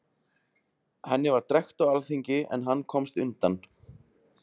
Henni var drekkt á alþingi, en hann komst undan.